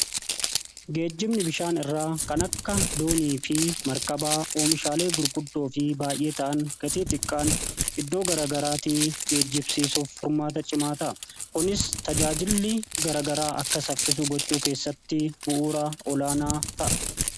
Geejjibni bishaan irraa kan akka doonii fi markabaa oomishaalee gurguddoo fi baay'ee ta'an gatii xiqqaan iddoo gara garaatii geejjibsiisuuf furmaata cimaa ta'a. Kunis tajaajilli garagaraa akka saffisu gochuu keessatti bu'uura olaanaa ta'a.